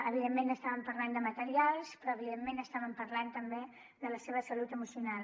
evidentment estàvem parlant de material però evidentment estàvem parlant també de la seva salut emocional